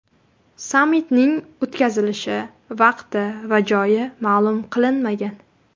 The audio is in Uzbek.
Sammitning o‘tkazilishi vaqti va joyi ma’lum qilinmagan.